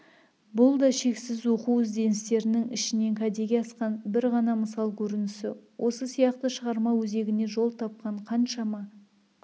бұл да шексіз оқу-ізденістерінің ішінен кәдеге асқан бір ғана мысал көрінісі осы сияқты шығарма өзегіне жол тапқан қаншама